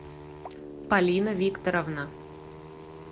полина викторовна